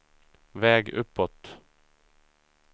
väg uppåt